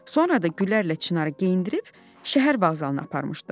Sonra da Güllərlə Çinarı geyindirib şəhər vağzalına aparmışdı.